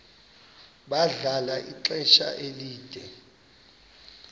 bahlala ixesha elide